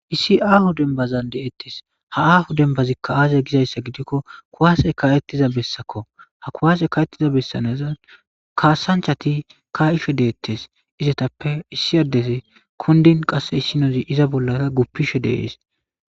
Issi aho dembaza de'etes.ha aho demnazika aze giza giddiko kuwase ka'etiza bessako Kuwase ka'etiza bessan daro kasanichati ka'ishe detes.izape issi adde kundin qassi issi adde zinosan bollara gufishe dees